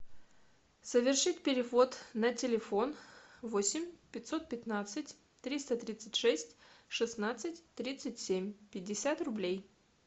совершить перевод на телефон восемь пятьсот пятнадцать триста тридцать шесть шестнадцать тридцать семь пятьдесят рублей